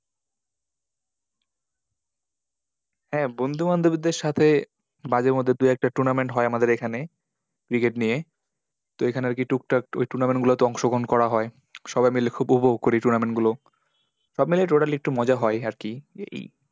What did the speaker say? হ্যাঁ বন্ধুবান্ধবদের সাথে মাঝে মধ্যে দু একটা tournament হয় আমাদের এখানে। cricket নিয়ে। তো এখানে ওই কি টুকটাক ওই tournament গুলোতে অংশগ্রহণ করা হয়। সবাই মিলে উপভোগ করি tournament গুলো। সব মিলিয়ে total একটু মজা হয় আর কি।